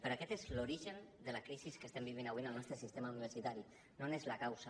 però aquest és l’origen de la crisi que estem vivint avui en el nostre sistema universitari no n’és la causa